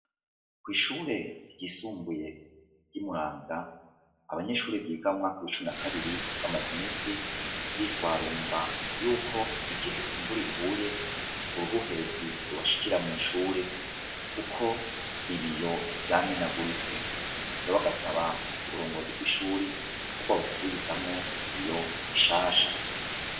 Kw'ishuri ryisumbuye ry'imuramvya abanyeshure biga mumwaka w'icumi nakabiri bamaze imisi bishwarumba yuko igihe imvura iguye uruhuherezi rubashikira mw'ishure kuko ibiyo vyamenaguritse rero bagasaba uburongozi bw'ishure kobwobasubirizamwo ibiyo bishasha.